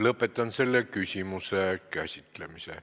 Lõpetan selle küsimuse käsitlemise.